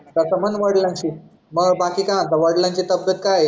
तस म्हण वडिलांशी मग बाकी काय म्हणते वडिलांची तब्येत काय आहे